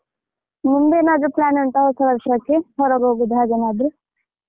ನಿಂದೇನಾದ್ರು plan ಉಂಟಾ ಹೊಸ ವರ್ಷಕ್ಕೆ ಹೊರಗೆ ಹೋಗೋದು ಹಾಗೇನಾದ್ರೂ.